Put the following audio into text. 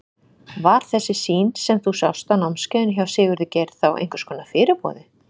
Var þessi sýn sem þú sást á námskeiðinu hjá Sigurði Geir þá einhvers konar fyrirboði?